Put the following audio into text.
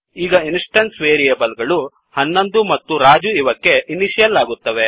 ಈಗ instance variable ಗಳು 11 ಮತ್ತು ರಾಜು ಇವಕ್ಕೆ ಇನಿಶಿಯಲ್ ಆಗುತ್ತವೆ